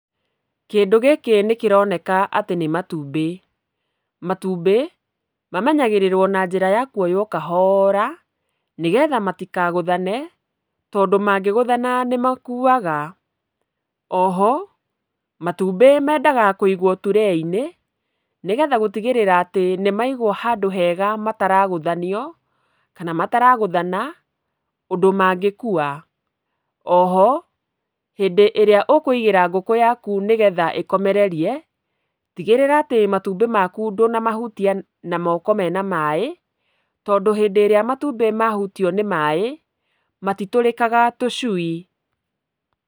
Kĩndũ gĩkĩ nĩ kĩroneka atĩ nĩ matumbĩ. Matumbĩ, mamenyagĩrĩrwo na njĩra ya kuoywo kahora, nĩgetha matikagũthane, tondũ mangĩgũthana nĩ makuaga. Oho matumbĩ mendaga kũigwo turee-inĩ, nĩgetha gũtigĩrĩra nĩ maigwo handũ hega mataragũthanio kana mataragũthana ũndũ mangĩkua. Oho, hĩndĩ ĩrĩa ũkũigĩra ngũkũ yaku nĩ getha ĩkomereri, tigĩrĩra atĩ matumbĩ maku ndũna mahutia na moko mena maĩ, tondũ hĩndĩ ĩrĩa matumbĩ mahutio nĩ maĩ, matitũrĩkaga tũcui.